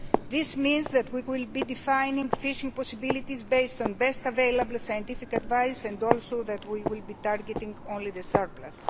This means that we will be defining fishing possibilities based on best available scientific advice and also that we will be targeting only the surplus.